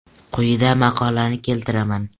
Quyida maqolani keltiraman.